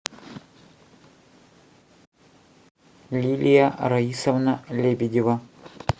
лилия раисовна лебедева